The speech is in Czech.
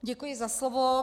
Děkuji za slovo.